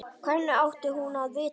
Hvernig átti hún að vita-?